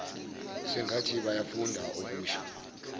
sengathi bayafunda okusho